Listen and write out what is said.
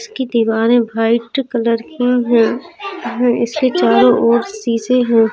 इसकी दीवारें white colour की हैं इसके चारों ओर शीशे हैं।